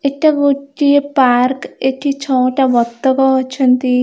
ଏଟା ଗୋଟିଏ ପାର୍କ ଏଠି ଛଟା ବତକ ଅଛନ୍ତି।